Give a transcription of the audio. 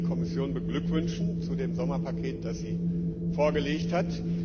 Ich möchte die Kommission beglückwünschen zu dem Sommerpaket, das sie vorgelegt hat.